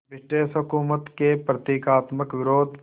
British हुकूमत के प्रतीकात्मक विरोध